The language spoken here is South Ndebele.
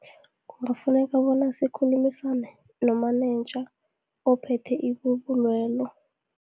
Kufuneka bona zikhulumisane nomanenja, ophethe ibubulwelo.